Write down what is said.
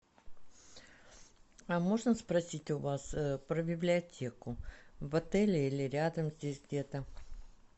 а можно спросить у вас про библиотеку в отеле или рядом здесь где то